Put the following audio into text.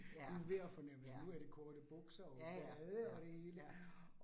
Ja, ja ja ja, ja, ja